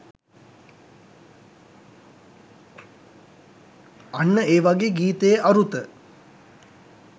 අන්න ඒ වගේ ගීතයේ අරුත